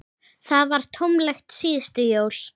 Það var tómlegt síðustu jól.